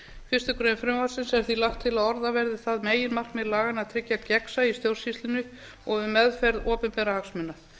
fyrstu grein frumvarpsins er því lagt til að orða verði það meginmarkmið laganna að tryggja gegnsæi í stjórnsýslunni og um meðferð opinberra hagsmuna